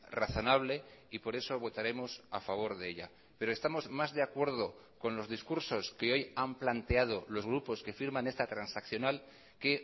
razonable y por eso votaremos a favor de ella pero estamos más de acuerdo con los discursos que hoy han planteado los grupos que firman esta transaccional que